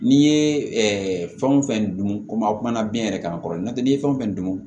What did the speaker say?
N'i ye fɛn o fɛn dun komi a kumana biyɛn yɛrɛ kan n'i ye fɛn o fɛn dun